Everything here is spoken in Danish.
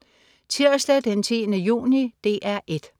Tirsdag den 10. juni - DR 1: